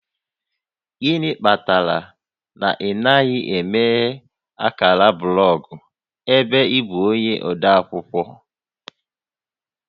Gịnị kpatara na ị naghị emeghe ákàrà blọgụ ebe ị bụ onye ode akwụkwọ?